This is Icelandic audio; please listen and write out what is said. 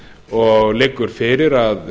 og liggur fyrir að